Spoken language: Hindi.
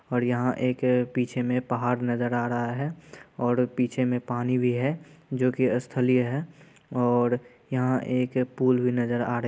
और यहाँ एक पीछे में पहाड़ नज़र रहा है और पीछे में पानी भी है जो कि स्थलीय है और यहाँ एक पूल भी नजर आ --